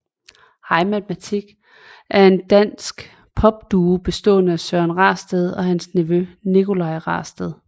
Hej Matematik er en dansk popduo bestående af Søren Rasted og hans nevø Nicolaj Rasted